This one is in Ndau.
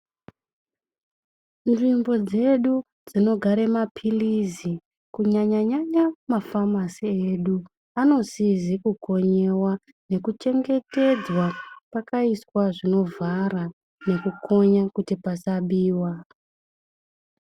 Nzvimbo dzedu dzinogara maphirizi kunyanya-nyanya mafamasi edu anosisa kukonywa nekuchengetedzwa ,pakaiswa zvinovhara nekukonya kuti pasabiwa.